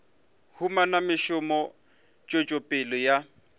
humana mešomo tswetšo pele ya